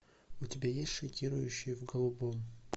у тебя есть шокирующие в голубом